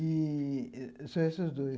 E... são esses dois.